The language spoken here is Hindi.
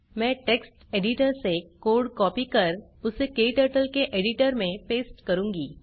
मैं टेक्स्ट एडिटर से कोड़ कॉपी कर उसे क्टर्टल के एडिटर में पेस्ट करूँगी